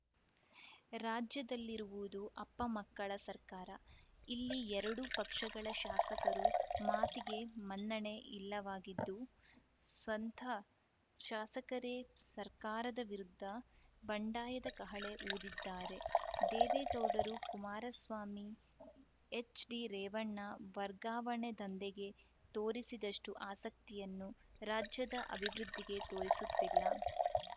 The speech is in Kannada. ರಾಜ್ಯದಲ್ಲಿರುವುದು ಅಪ್ಪಮಕ್ಕಳ ಸರ್ಕಾರ ಇಲ್ಲಿ ಎರಡೂ ಪಕ್ಷಗಳ ಶಾಸಕರ ಮಾತಿಗೆ ಮನ್ನಣೆ ಇಲ್ಲವಾಗಿದ್ದು ಸ್ವತಃ ಶಾಸಕರೇ ಸರ್ಕಾರದ ವಿರುದ್ಧ ಬಂಡಾಯದ ಕಹಳೆ ಊದಿದ್ದಾರೆ ದೇವೇಗೌಡರು ಕುಮಾರಸ್ವಾಮಿ ಎಚ್‌ಡಿರೇವಣ್ಣ ವರ್ಗಾವಣೆ ದಂಧೆಗೆ ತೋರಿಸಿದಷ್ಟುಆಸಕ್ತಿಯನ್ನು ರಾಜ್ಯದ ಅಭಿವೃದ್ಧಿಗೆ ತೋರಿಸುತ್ತಿಲ್ಲ